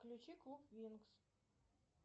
включи клуб винкс